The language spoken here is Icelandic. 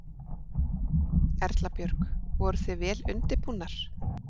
Erla Björg: Voruð þið vel undirbúnar?